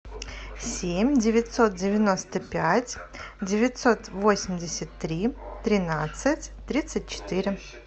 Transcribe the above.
семь девятьсот девяносто пять девятьсот восемьдесят три тринадцать тридцать четыре